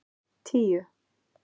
tíu